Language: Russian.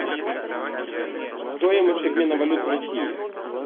стоимость обмена валют в россии